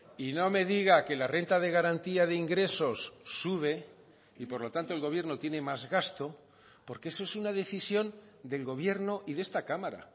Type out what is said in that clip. y no me diga que la renta de garantía de ingresos sube y por lo tanto el gobierno tiene más gasto porque eso es una decisión del gobierno y de esta cámara